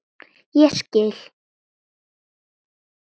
Ég skil